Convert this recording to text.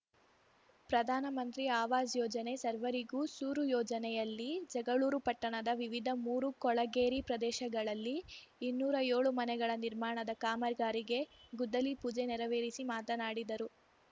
ಪ್ರಧಾನಮಂತ್ರಿ ಆವಾಜ್‌ ಯೋಜನೆ ಸರ್ವರಿಗೂ ಸೂರು ಯೋಜನೆ ಯಲ್ಲಿ ಜಗಳೂರು ಪಟ್ಟಣದ ವಿವಿಧ ಮೂರು ಕೊಳಗೇರಿ ಪ್ರದೇಶಗಳಲ್ಲಿ ಇನ್ನೂರ ಏಳು ಮನೆಗಳ ನಿರ್ಮಾಣದ ಕಾಮಗಾರಿಗೆ ಗುದ್ದಲಿ ಪೂಜೆ ನೆರವೇರಿಸಿ ಮಾತನಾಡಿದರು